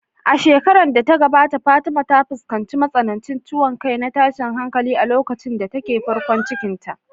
A shekarar da ta gabata Fatima ta fuskanci matsanancin ciwon kai na tashin hankali a lokacin da take farkon ciki.